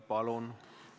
Palun!